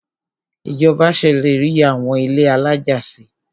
Ìjọba ṣèlérí àwọn ilé alájà si.